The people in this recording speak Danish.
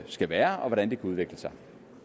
skal være og hvordan det kunne udvikle sig